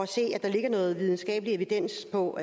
se at der ligger noget videnskabelig evidens på